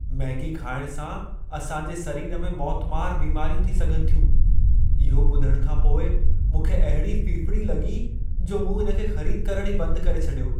Maggi खाइण सां असां जे सरीर में मौतमारु बीमारियूं थी सघनि थियूं। इहो ॿुधण खां पोइ मूंखे अहिड़ी फिफिड़ी लॻी जो मूं इन खे ख़रीद करण ई बंदि करे छॾियो।